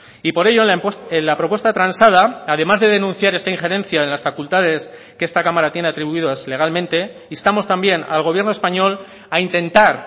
y por ello la propuesta transada además de denunciar esta injerencia en las facultades que esta cámara tiene atribuidos legalmente instamos también al gobierno español a intentar